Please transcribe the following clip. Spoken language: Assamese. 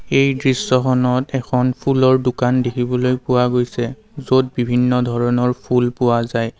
এই দৃশ্যখনত এখন ফুলৰ দোকান দেখিব পোৱা গৈছে য'ত বিভিন্ন ধৰণৰ ফুল পোৱা যায়।